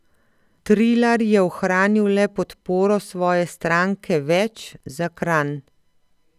Trilar je ohranil le podporo svoje stranke Več za Kranj.